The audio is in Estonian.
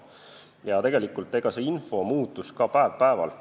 Ja tegelikult info muutus ka iga päevaga.